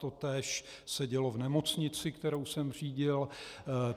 Totéž se dělo v nemocnici, kterou jsem řídil.